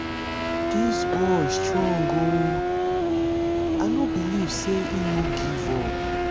dis boy strong ooo i no believe say he no give up